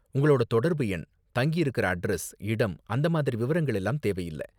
உங்களோட தொடர்பு எண், தங்கியிருக்குற அட்ரஸ். இடம் அந்த மாதிரி விவரங்கள் எல்லாம் தேவை இல்ல.